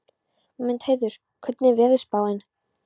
Mundheiður, hvernig er veðurspáin?